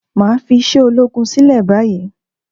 Máà fi iṣẹ́ ológun sílẹ̀ báyìí